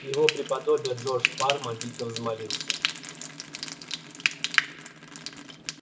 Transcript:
его преподобие джордж парма дико взмолился